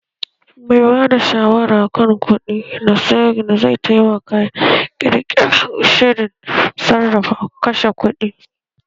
Mai ba da shawara kan kuɗi na sirri zai taimaka ƙirƙirar shirin sarrafa kashe kuɗi